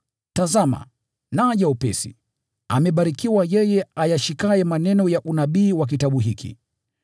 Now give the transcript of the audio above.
“Tazama, naja upesi! Amebarikiwa yeye ayashikaye maneno ya unabii wa kitabu hiki.”